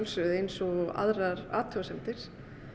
eins og aðrar athugasemdir